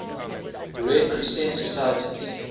red crescent societies